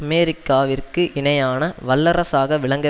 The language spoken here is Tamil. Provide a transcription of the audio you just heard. அமெரிக்காவிற்கு இணையான வல்லரசாக விளங்க